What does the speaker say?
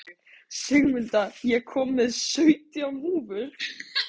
Sigmunda, ég kom með sautján húfur!